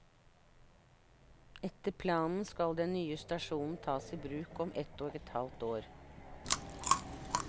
Etter planen skal den nye stasjonen tas i bruk om ett og et halvt år.